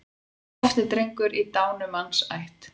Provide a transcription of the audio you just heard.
Oft er drengur í dánumanns ætt.